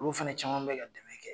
Olu fana caman bɛ ka dɛmɛ kɛ